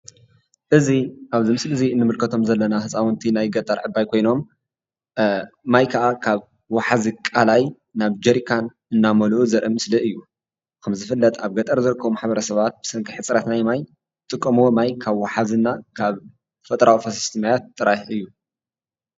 እዚ ኣብዚ ምስሊ እዚ ንምልከቶም ዘለና ህፃውንቲ ናይ ገጠር ዕባይ ኮይኖም ማይ ከዓ ካብ ወሓዚ ቃላይ ናብ ጀሪካን እናመልኡ ዘርኢ ምስሊ እዩ፡፡ ከምዝፍለጥ ኣብ ገጠር ዝርከቡ ማሕበረሰባት ብሰንኪ ሕፅረት ናይ ማይ ዝጥቀምዎ ማይ ካብ ወሓዚና ካብ ተፈጥሯዊ ፈሰስቲ ማያት ጥራሕ እዩ፡፡